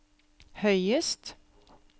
høyest